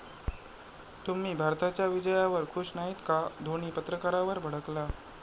तुम्ही भारताच्या विजयावर खुश नाहीत का?, धोणी पत्रकारावर भडकला